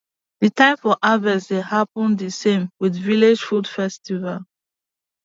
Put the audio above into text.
the time for harvest dey happen di same with village food festival